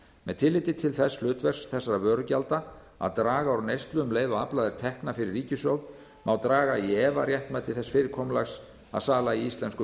með tilliti til þess hlutverks þessara vörugjalda að draga úr neyslu um leið og aflað er tekna fyrir ríkissjóð má draga í efa réttmæti þess fyrirkomulags að sala í íslenskum